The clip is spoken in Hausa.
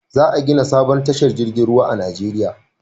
Za a gina sabon tashar jirgin ruwa a Najeriya